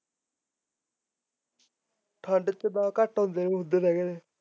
ਠੰਡ ਚ ਤਾਂ ਘੱਟ ਹੁੰਦੇ ਨੇ ਹੁੰਦੇ ਤਾਂ ਹੈਗੇ ਨੇ